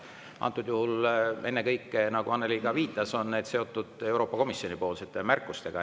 Antud juhul ennekõike, nagu Annely ka viitas, on need seotud Euroopa Komisjoni poolsete märkustega.